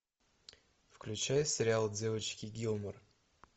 включай сериал девочки гилмор